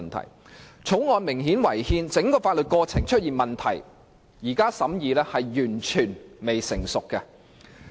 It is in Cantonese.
《條例草案》不單明顯違憲，而且整個法律過程都出現問題，所以現在進行審議是完全未成熟的。